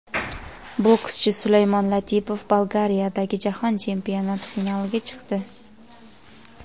Bokschi Sulaymon Latipov Bolgariyadagi jahon chempionati finaliga chiqdi.